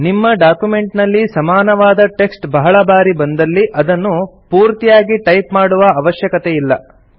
ನಿಮ್ಮ ಡಾಕ್ಯುಮೆಂಟ್ ನಲ್ಲಿ ಸಮಾನವಾದ ಟೆಕ್ಸ್ಟ್ ಬಹಳ ಬಾರಿ ಬಂದಲ್ಲಿ ಅದನ್ನು ಪೂರ್ತಿಯಾಗಿ ಟೈಪ್ ಮಾಡುವ ಅವಶ್ಯಕತೆಯಿಲ್ಲ